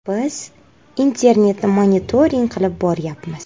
Biz internetni monitoring qilib boryapmiz.